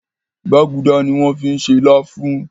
Gbágudá ní wón fí ṣe lafun.